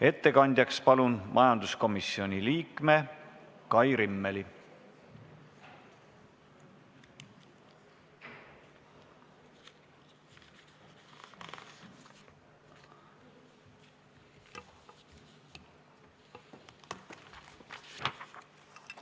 Ettekandjaks palun majanduskomisjoni liikme Kai Rimmeli!